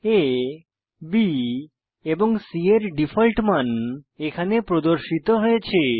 আ B এবং C এর default মান এখানে প্রদর্শিত হয়েছে